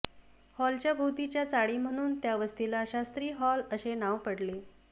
हॉलच्या भोवतीच्या चाळी म्हणून त्या वस्तीला शास्त्री हॉल असे नाव पडले